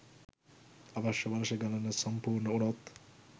අවශ්‍ය වර්ෂ ගණන සම්පුර්ණ වුණොත්